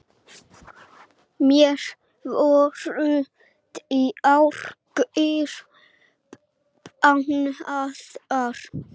Mér voru bjargir bannaðar.